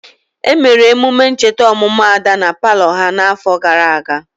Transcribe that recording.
Emere emume ncheta ọmụmụ Ada na palọ ha n'afọ gara aga.